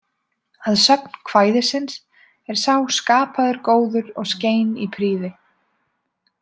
Að sögn kvæðisins er sá „skapaður góður og skein í prýði“